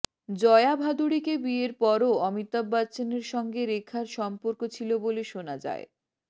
জয়া ভাদুড়িকে বিয়ের পরও অমিতাভ বচ্চনের সঙ্গে রেখার সম্পর্ক ছিল বলে শোনা যায়